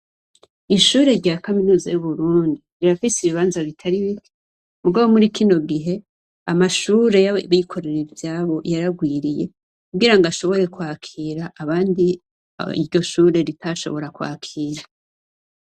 Ishure rya kaminuza y'Uburundi , rirafise ibibanza bitari bike, Muga muri kino gihe, amashure yabikorera ivyabo yararwiriye. Kugira ngo bashobore kwakira abandi iryo Shure ritashobora kwakira.